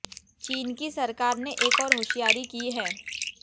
चीन की सरकार ने एक और होशियारी की है